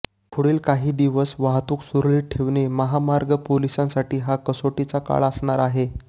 पुढील काही दिवस वाहतूक सुरळीत त ठेवणे महामार्ग पोलिसांसाठी हा कसोटीचा काळ असणार आहे